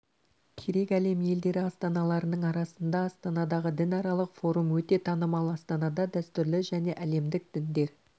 керек әлем елдері астаналарының арасында астанадағы дінаралық форум өте танымал астанада дәстүрлі және әлемдік діндер